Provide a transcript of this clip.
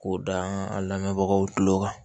K'o da a lamɛnbagaw tulo kan